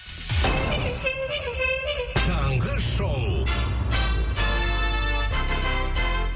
таңғы шоу